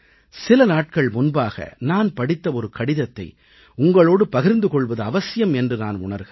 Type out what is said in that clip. சில நாட்கள் முன்பாக நான் படித்த ஒரு கடிதத்தை உங்களோடு பகிர்ந்து கொள்வது அவசியம் என்று நான் உணர்கிறேன்